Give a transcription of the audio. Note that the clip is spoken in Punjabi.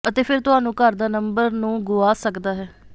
ਅਤੇ ਫਿਰ ਤੁਹਾਨੂੰ ਘਰ ਦਾ ਨੰਬਰ ਨੂੰ ਗੁਆ ਸਕਦਾ ਹੈ